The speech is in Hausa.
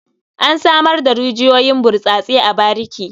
An samar da rijiyoyin burtsatse a bariki.